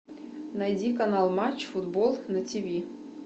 найди канал матч футбол на тиви